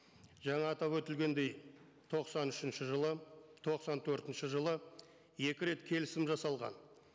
жаңа атап өтілгендей тоқсан үшінші жылы тоқсан төртінші жылы екі рет келісім жасалған